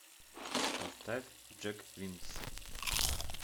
поставь джек винс